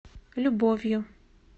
любовью